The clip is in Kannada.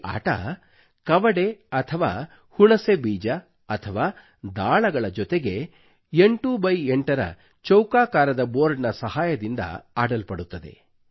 ಈ ಆಟವು ಕವಡೆ ಅಥವಾ ಹುಣಸೆ ಬೀಜ ಅಥವಾ ದಾಳಗಳ ಜೊತೆಗೆ 8X8 ರ ಚೌಕಾಕಾರದ ಬೋರ್ಡ್ ನ ಸಹಾಯದಿಂದ ಆಡಲ್ಪಡುತ್ತದೆ